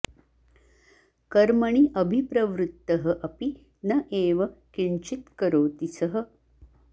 कर्मणि अभिप्रवृत्तः अपि न एव किञ्चित् करोति सः